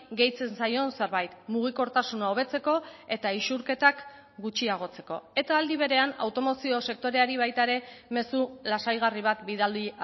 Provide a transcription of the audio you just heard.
gehitzen zaion zerbait mugikortasuna hobetzeko eta isurketak gutxiagotzeko eta aldi berean automozio sektoreari baita ere mezu lasaigarri bat bidali